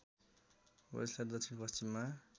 वेल्सको दक्षिण पश्चिममा